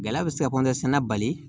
Gɛlɛya bɛ se ka kɔnɔsɛnɛ bali